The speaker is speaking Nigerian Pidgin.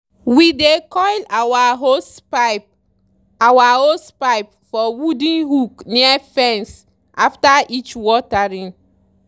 we dey coil our hosepipe our hosepipe for wooden hook near fence after each watering.